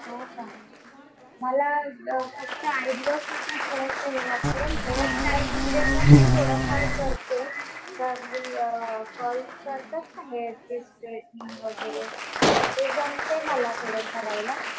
हो का. मला फक्त आयब्रो साठी थोडंसं हे वाटतंय. हेअरस्टाईल मध्ये पण मी थोडंफार करते. कर्ली कर्ल्स करतात ना, हेअर स्ट्रेटनिंग वगैरे. ते जमते मला थोडं करायला